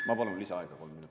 Ma palun lisaaega kolm minutit.